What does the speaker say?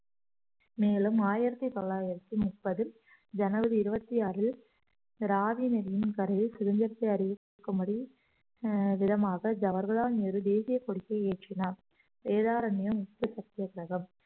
மேலும் ஆயிரத்தி தொள்ளாயிரத்தி முப்பதில் ஜனவரி இருபத்தி ஆறில் ராவி நதியின் கரையை சுதந்திரத்தை அறிவிக்கும்படி அஹ் விதமாக ஜவர்களால் நேரு தேசியக் கொடியை ஏற்றினார் வேதாரண்யம் உப்பு சத்தியாகிரகம்